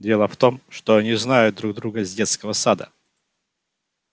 дело в том что они знают друг друга с детского сада